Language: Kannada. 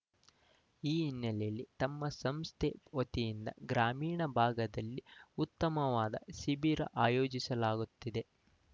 ಈ ಹಿನ್ನೆಲೆಯಲ್ಲಿ ತಮ್ಮ ಸಂಸ್ಥೆ ವತಿಯಿಂದ ಗ್ರಾಮೀಣ ಭಾಗದಲ್ಲಿ ಉತ್ತಮವಾದ ಶಿಬಿರ ಆಯೋಜಿಸಲಾಗುತ್ತಿದೆ